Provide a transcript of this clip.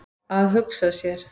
Að hugsa sér!